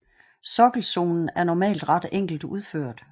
Sokkelzonen er normalt ret enkelt udført